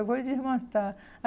Eu vou desmanchar.